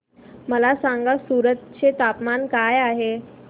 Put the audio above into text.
मला सांगा सूरत चे तापमान काय आहे